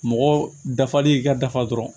Mɔgɔ dafali ka dafa dɔrɔn